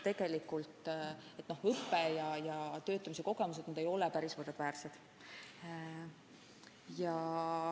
Tegelikult ei ole õpe ja töötamise kogemused siiski võrdväärsed.